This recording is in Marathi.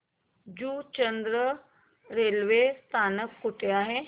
जुचंद्र रेल्वे स्थानक कुठे आहे